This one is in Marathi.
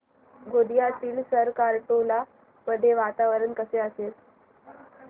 गोंदियातील सरकारटोला मध्ये वातावरण कसे असेल